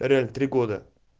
реально три года